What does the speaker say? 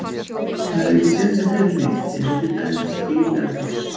Það er ekki séns að fela neitt, eins og til dæmis bíl eða koss.